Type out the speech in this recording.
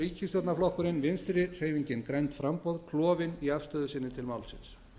ríkisstjórnarflokkurinn vinstri hreyfingin grænt framboð klofinn í afstöðu sinni til málsins